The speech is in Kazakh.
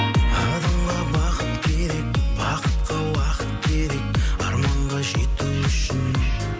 адамға бақыт керек бақытқа уақыт керек арманға жету үшін